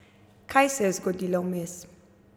Kaj se je zgodilo vmes?